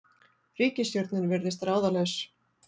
Ríkisstjórnin virðist ráðalaus